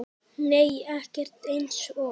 Nei ekkert eins og